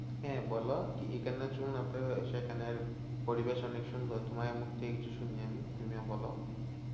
হ্যাঁ বলো, সেখানের পরিবেশ অনেক সুন্দর তোমার মুখ থেকে কিছু শুনি আমি তুমিও বলো।